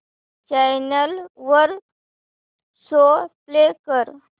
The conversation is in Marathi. चॅनल वर शो प्ले कर